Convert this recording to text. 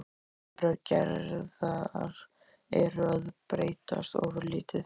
Vinnubrögð Gerðar eru að breytast ofurlítið.